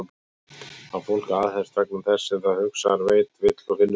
Að fólk aðhefst vegna þess sem það hugsar, veit, vill og finnur til?